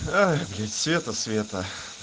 блядь света света